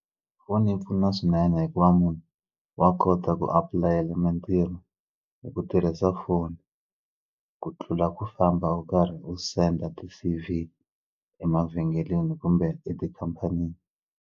Foni yi pfuna swinene hikuva munhu wa kota ku apulayela mitirho hi ku tirhisa foni ku tlula ku famba u karhi u senda ti-C_V emavhengeleni kumbe etikhampani.